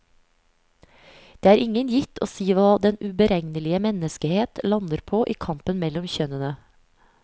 Det er ingen gitt å si hva den uberegnelige menneskehet lander på i kampen mellom kjønnene.